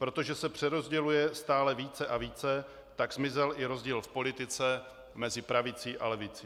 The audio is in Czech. Protože se přerozděluje stále více a více, tak zmizel i rozdíl v politice mezi pravicí a levicí.